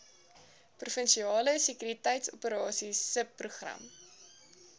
provinsiale sekuriteitsoperasies subprogram